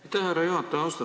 Aitäh, härra juhataja!